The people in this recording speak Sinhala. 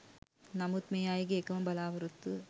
නමුත් මේ අයගේ එකම බලාපොරොත්තුව